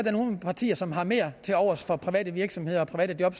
er nogle partier som har mere tilovers for private virksomheder og private job